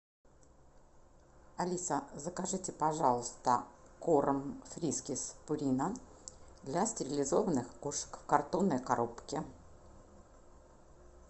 алиса закажите пожалуйста корм фрискис пурина для стерилизованных кошек в картонной коробке